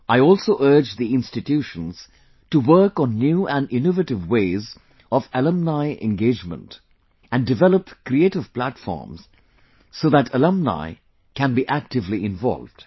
I also urge the institutions to work on new and innovative ways of alumni engagement and develop creative platforms so that alumni can be actively involved